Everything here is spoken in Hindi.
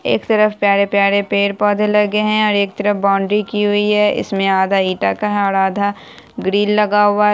एक तरफ प्यारे-प्यारे पेड़-पौधे लगे है और एक तरफ बाउंड्री की हुई है इसमे आधा ईटा का है और आधा ग्रिल लगा हुआ है।